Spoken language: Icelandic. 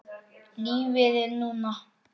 Lífið er núna.